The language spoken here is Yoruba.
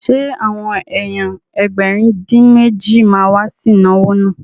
Ṣé àwọn èèyàn Ẹgbẹ̀rin-dín-méjì ma wá sí ìnáwó náà?